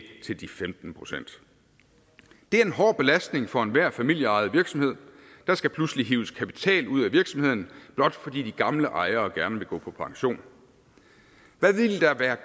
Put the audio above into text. til de femten procent det er en hård belastning for enhver familieejet virksomhed der skal pludselig hives kapital ud af virksomheden blot fordi de gamle ejere gerne vil gå på pension hvad ville der være